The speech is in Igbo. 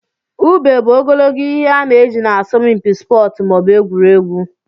Ube bụ ogologo ihe ana eji na asọmpi sportu maọbu egwuregwu.